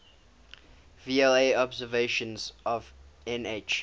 vla observations of nh